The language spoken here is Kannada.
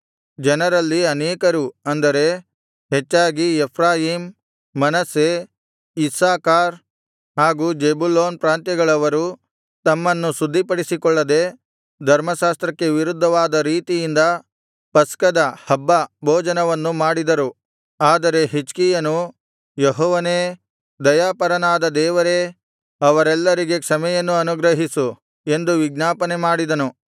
ಜನರಲ್ಲಿ ಅನೇಕರು ಅಂದರೆ ಹೆಚ್ಚಾಗಿ ಎಫ್ರಾಯೀಮ್ ಮನಸ್ಸೆ ಇಸ್ಸಾಕಾರ್ ಹಾಗು ಜೆಬುಲೂನ್ ಪ್ರಾಂತ್ಯಗಳವರು ತಮ್ಮನ್ನು ಶುದ್ಧಿಪಡಿಸಿಕೊಳ್ಳದೆ ಧರ್ಮಶಾಸ್ತ್ರಕ್ಕೆ ವಿರುದ್ಧವಾದ ರೀತಿಯಿಂದ ಪಸ್ಕದ ಹಬ್ಬ ಭೋಜನವನ್ನು ಮಾಡಿದರು ಆದರೆ ಹಿಜ್ಕೀಯನು ಯೆಹೋವನೇ ದಯಾಪರನಾದ ದೇವರೇ ಅವರೆಲ್ಲರಿಗೆ ಕ್ಷಮೆಯನ್ನು ಅನುಗ್ರಹಿಸು ಎಂದು ವಿಜ್ಞಾಪನೆ ಮಾಡಿದನು